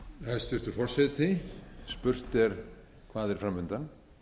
hæstvirtur forseti spurt er hvað er framundan